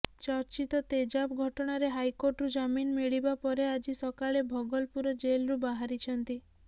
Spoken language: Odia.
ଚର୍ଚ୍ଚିତ ତେଜାବ୍ ଘଟଣାରେ ହାଇକୋର୍ଟରୁ ଜାମିନ୍ ମିଳିବା ପରେ ଆଜି ସକାଳେ ଭଗଲପୁର ଜେଲରୁ ବାହାରିଛନ୍ତି